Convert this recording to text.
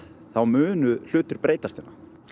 þá munu hlutir breytast hérna